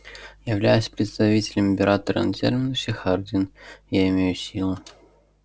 являясь представителем императора на терминусе хардин я имею силу